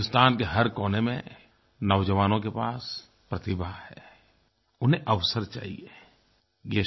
हिन्दुस्तान के हर कोने में नौजवानों के पास प्रतिभा है उन्हें अवसर चाहिये